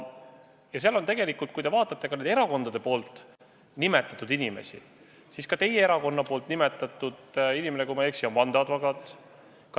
Ja kui te vaatate erakondade nimetatud inimesi, siis näiteks teie erakonna nimetatud inimene on, kui ma ei eksi, vandeadvokaat.